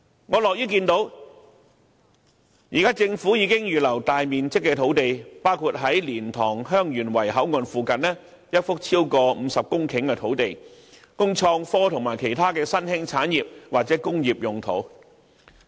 我樂於看到政府現時已預留大面積的土地，包括在蓮塘/香園圍口岸附近一幅超過50公頃的土地，供創科及其他新興產業或工業之用。